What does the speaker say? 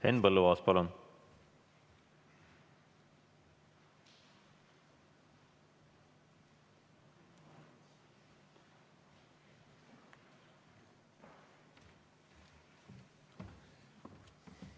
Henn Põlluaas, palun!